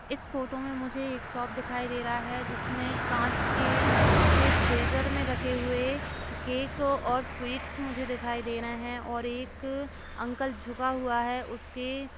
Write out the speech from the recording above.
इस फोटो में मुझे एक शॉप दिखाई दे रहा है जिसमें कांच के फ्रीजर में रखे हुए केक और स्वीट्स मुझे दिखाई दे रहें हैं और एक अंकल झुका हुआ है उसके --